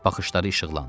Baxışları işıqlandı.